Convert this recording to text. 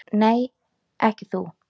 Nei, ekki þú.